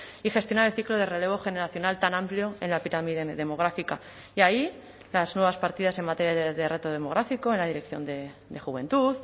y gestionar el ciclo de relevo generacional tan amplio en la pirámide demográfica y ahí las nuevas partidas en materia de reto demográfico en la dirección de juventud